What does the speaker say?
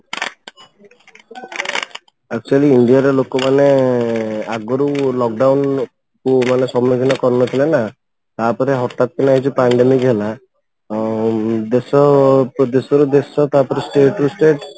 actually ଇଣ୍ଡିଆର ଲୋକ ମାନେ ଆଗରୁ lock down କୁ ମାନେ ସମୁଖୀନ କରିନଥିଲେ ନା ତାପରେ ହଠାତ କିନା ଏଇ ଯୋଉ pandemic ହେଲା ଅଂ ଦେଶ ଦେଶରୁ ଦେଶ ତା'ପରେ state ରୁ state